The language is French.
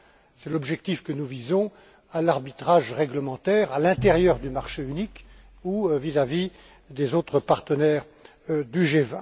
c'est l'objectif que nous visons à l'arbitrage réglementaire, à l'intérieur du marché unique ou vis à vis des autres partenaires du G